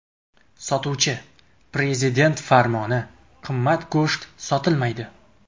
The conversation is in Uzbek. Sotuvchi: ‘Prezident farmoni qimmat go‘sht sotilmaydi.